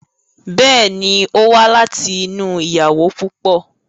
Bẹ́ẹ̀ ni, ó wá láti inú ìyàwó púpọ̀.